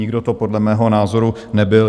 Nikdo to podle mého názoru nebyl.